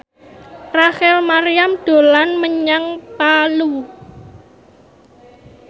Rachel Maryam dolan menyang Palu